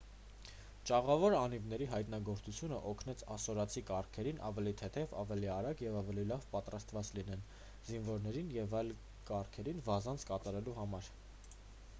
ճաղավոր անիվների հայտնագործությունն օգնեց ասորացի կառքերին ավելի թեթև ավելի արագ և ավելի լավ պատրաստված լինեն զինվորներին և այլ կառքերին վազանց կատարելու համար